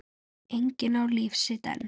Enginn á líf sitt einn.